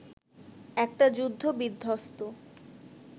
একটা যুদ্ধ বিধ্বস্ত